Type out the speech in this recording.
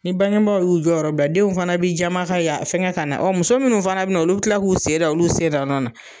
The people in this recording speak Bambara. Ni bangebaa y'u jɔyɔrɔ bila denw fana bɛ jama ka yaa fɛngɛ ka na muso minnu fana bɛ na olu tila k'u sen da olu sen da nɔ na.